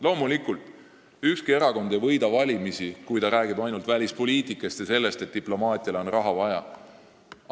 Loomulikult ei võida ükski erakond valimisi, kui ta räägib ainult välispoliitikast ja sellest, et diplomaatiale on raha juurde vaja.